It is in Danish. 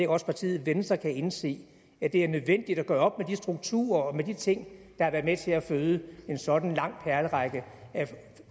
også partiet venstre kan indse at det er nødvendigt at gøre op med de strukturer og de ting der har været med til at føde en sådan lang perlerække